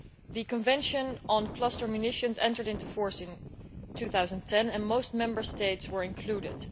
The Convention on Cluster Munitions entered into force in 2010 and most Member States were included.